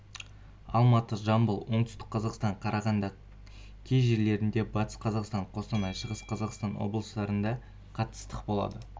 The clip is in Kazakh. алматы жамбыл оңтүстік қазақстан қарағанды кей жерлерінде батыс қазақстан қостанай шығыс қазақстан облыстарында қатты ыстық болады